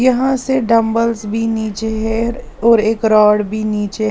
यहां से डंबल्स भी नीचे हैऔर एक रॉड भी नीचे।